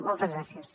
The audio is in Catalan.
moltes gràcies